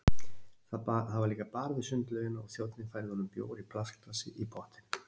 Það var líka bar við sundlaugina og þjónninn færði honum bjór í plastglasi í pottinn.